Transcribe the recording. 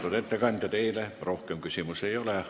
Lugupeetud ettekandja, teile rohkem küsimusi ei ole.